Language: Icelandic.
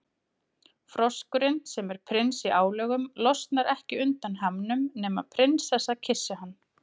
Froskurinn, sem er prins í álögum, losnar ekki undan hamnum nema prinsessa kyssi hann.